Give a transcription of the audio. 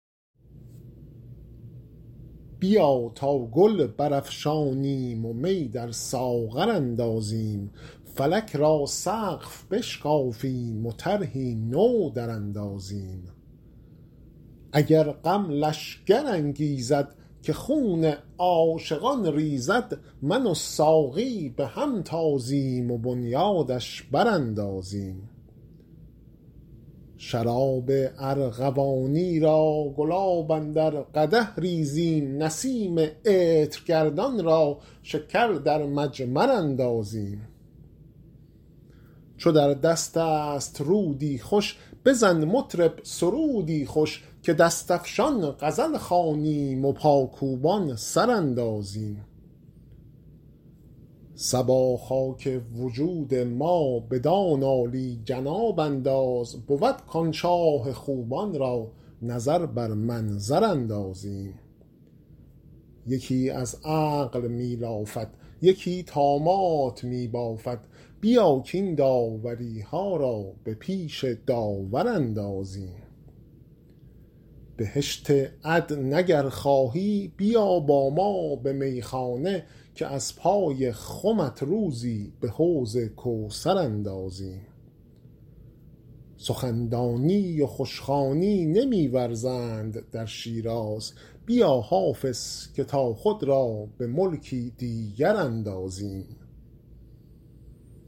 بیا تا گل برافشانیم و می در ساغر اندازیم فلک را سقف بشکافیم و طرحی نو دراندازیم اگر غم لشکر انگیزد که خون عاشقان ریزد من و ساقی به هم تازیم و بنیادش براندازیم شراب ارغوانی را گلاب اندر قدح ریزیم نسیم عطرگردان را شکر در مجمر اندازیم چو در دست است رودی خوش بزن مطرب سرودی خوش که دست افشان غزل خوانیم و پاکوبان سر اندازیم صبا خاک وجود ما بدان عالی جناب انداز بود کآن شاه خوبان را نظر بر منظر اندازیم یکی از عقل می لافد یکی طامات می بافد بیا کاین داوری ها را به پیش داور اندازیم بهشت عدن اگر خواهی بیا با ما به میخانه که از پای خمت روزی به حوض کوثر اندازیم سخن دانی و خوش خوانی نمی ورزند در شیراز بیا حافظ که تا خود را به ملکی دیگر اندازیم